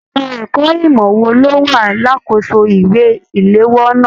Ẹka ẹ̀kọ́ ìmọ wò ló wà lakoso ìwé iléwọ́ náà?